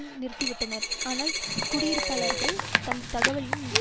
நிறுத்திவிட்டனர் ஆனால் குடியிருப்பாளர்களுக்கு தந்த தகவலில்